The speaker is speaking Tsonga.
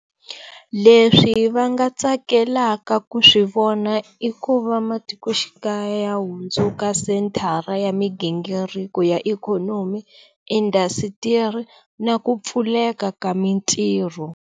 Leswi va nga tsakelaka ku swi vona i ku va matikoxikaya ya hundzuka senthara ya migingiriko ya ikhonomi, indasitiri na ku pfuleka ka mintirho.